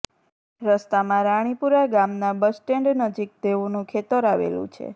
રસ્તામાં રાણીપુરા ગામના bus stand નજીક તેઓનું ખેતર આવેલું છે